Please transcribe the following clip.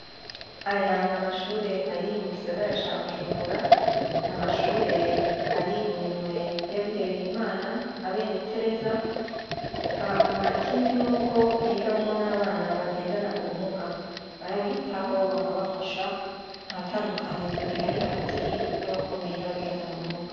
Aya n’amashure ari mugisagara ca bujumbura, n’amashure ari muminwe yabihebeye imana abenetereza hanyuma ikindi nuko higamwo n’abana bagendana ubumuga barabitaho bakabafasha, ntatandukanirizo rihari hagati yabakomeye n’abagendana ubumuga.